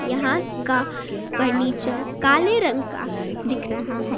यहां का फर्नीचर काले रंग का दिख रहा हैं।